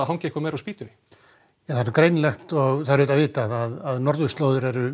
hangir eitthvað meira á spýtunni ja það er vitað að norðurslóðir eru